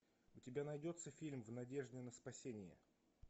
у тебя найдется фильм в надежде на спасение